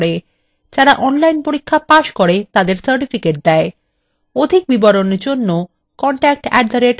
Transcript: অধিক বিবরণের জন্য contact @spokentutorial org তে ইমেল করুন